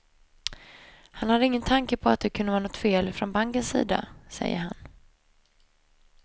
Han hade ingen tanke på att det kunde vara något fel från bankens sida, säger han.